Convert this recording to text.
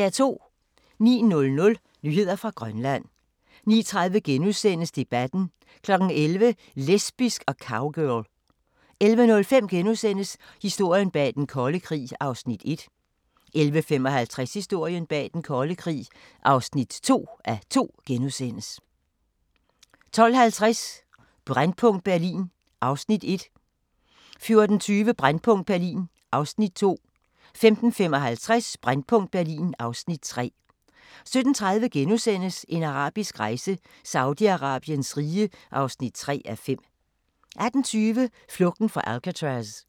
09:00: Nyheder fra Grønland 09:30: Debatten * 11:00: Lesbisk og cowgirl 11:05: Historien bag Den Kolde Krig (1:2)* 11:55: Historien bag Den Kolde Krig (2:2)* 12:50: Brændpunkt Berlin (Afs. 1) 14:20: Brændpunkt Berlin (Afs. 2) 15:55: Brændpunkt Berlin (Afs. 3) 17:30: En arabisk rejse: Saudi-Arabiens rige (3:5)* 18:20: Flugten fra Alcatraz